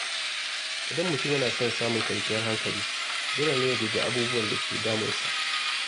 Idan mutum yana son samun kwanciyar hankali, dole ne ya guji abubuwan da ke damunsa.